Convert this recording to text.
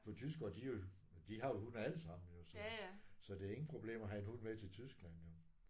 For tyskere de jo de har jo hund alle sammen så så det er ingen problem at have hund med til Tyskland jo